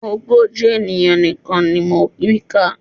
Ogójì ènìyàn nìkan ni mo rí kà